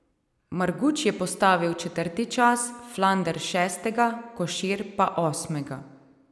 Marguč je postavil četrti čas, Flander šestega, Košir pa osmega.